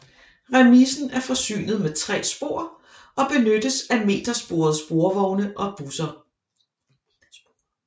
Remisen er forsynet med tre spor og benyttes af metersporede sporvogne og busser